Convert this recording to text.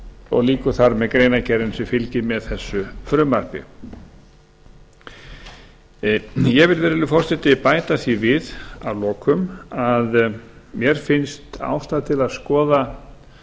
og lýkur þar með greinargerðinni sem fylgir með þessu frumvarpi ég vil virðulegi forseti bæta því við að lokum að mér finnst ástæða til þess að skoða